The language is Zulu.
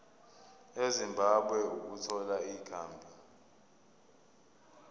ezimbabwe ukuthola ikhambi